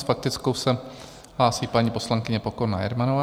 S faktickou se hlásí paní poslankyně Pokorná Jermanová.